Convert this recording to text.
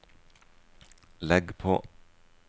legg på